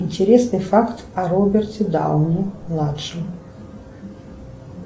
интересный факт о роберте дауни младшем